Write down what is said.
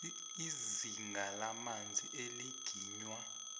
izinga lamanzi eliginywa